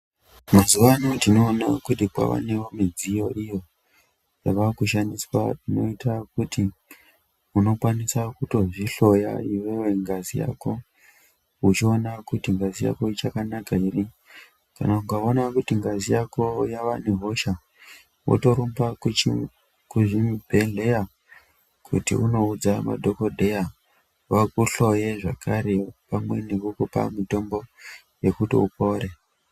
Mazuwano tinoona kuti kwavanewo midziyo iyo yava kushandiswa inoita kuti unokwanisa kutozvihloya iwewe ngazi yako uchiona kuti ngazi yako ichakanaka here, kana ukaona kuti ngazi yako yavane hosha wotorumba kuzvibhedhleya kuti unoudza madhokodheya vakuhloye zvakare pamweni vokupa mitombo yekuti upore.